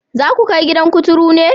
Za ku kai gidan kuturu ne?